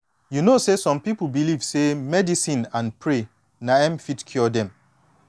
you know say some pipu believe say medicine and pray na em fit cure dem